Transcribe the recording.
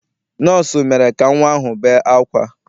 Nọọsụ mere ka nnwa ahụ bee ákwá.